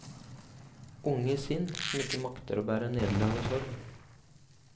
Unge sinn som ikke makter å bære nederlag og sorg.